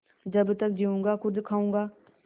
जब तक जीऊँगा खुद खाऊँगा